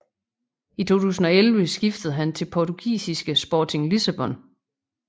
I 2011 skiftede han til portugisiske Sporting Lissabon